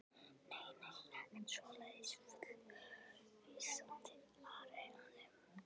Nei, nei, ekkert svoleiðis fullvissaði Ari hann um.